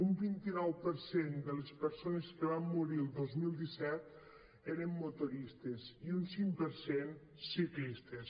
un vint nou per cent de les persones que van morir el dos mil disset eren motoristes i un cinc per cent ciclistes